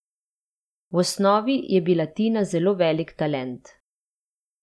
V osnovi je bila Tina zelo velik talent.